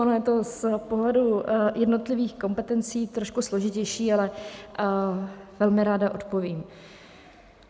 Ono je to z pohledu jednotlivých kompetencí trošku složitější, ale velmi ráda odpovím.